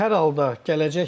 Hər halda gələcəkmi?